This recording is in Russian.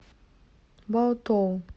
баотоу